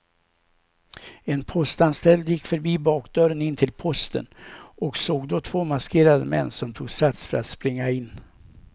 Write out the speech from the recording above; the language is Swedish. En postanställd gick förbi bakdörren in till posten och såg då två maskerade män som tog sats för att springa in.